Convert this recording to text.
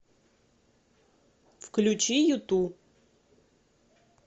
включи юту